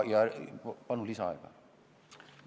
Palun lisaaega!